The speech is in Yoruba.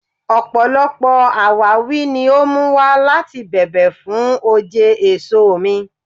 Ọpọlọpọ awawi ni o mu wa lati bẹ̀bẹ̀ fun òjé èso mi